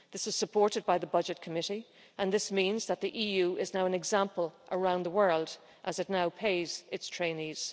This was supported by the Budget Committee, and this means that the EU is now an example around the world, as it now pays its trainees